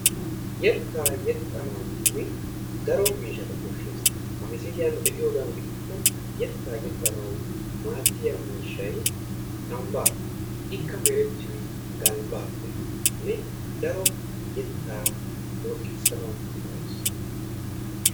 Yettaa yexxanawunne daro miishshata koshshses. Ha misiliyan be"iyoodan gidikko yettaa yexxanaw maaddiya miishshay kambbaa. Ikka merettiyoy galbbaappenne daro yettaa looxigisanawu go"ees.